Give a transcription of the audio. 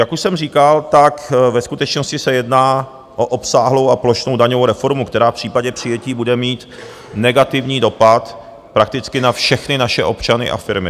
Jak už jsem říkal, tak ve skutečnosti se jedná o obsáhlou a plošnou daňovou reformu, která v případě přijetí bude mít negativní dopad prakticky na všechny naše občany a firmy.